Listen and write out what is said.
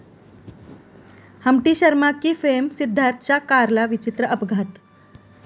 Humpty Sharma की...'फेम सिद्धार्थच्या कारला विचित्र अपघात